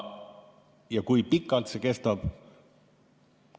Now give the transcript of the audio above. Kui pikalt see kestab?